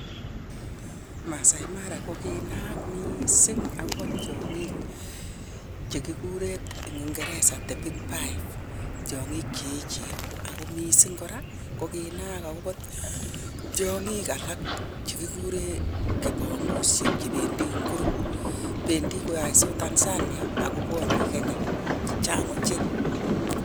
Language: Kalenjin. Maasai mara ko kinaak mising akobo tiong'iik che kigure eng ngeresa "The big five",tiong'iik che echen, ako mising kora ko kinaak akobo tiong'ik alak che kigure kipongusiek che pendi eng group. Pendi koyoisot Tanzania ak kobwone Kenya, chechang' oche.